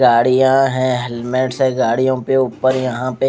गाडिया है हेल्मेट्स है गाडियों के ऊपर यहां पे--